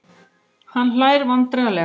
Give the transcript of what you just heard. Hann hlær vandræðalega.